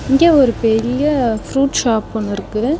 இங்க ஒரு பெரிய ப்ரூட் ஷாப் ஒன்னுருக்கு.